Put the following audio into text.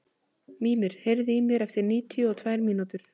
Mímir, heyrðu í mér eftir níutíu og tvær mínútur.